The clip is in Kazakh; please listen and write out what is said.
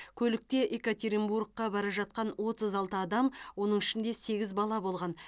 көлікте екатеринбургқа бара жатқан отыз алты адам оның ішінде сегіз бала болған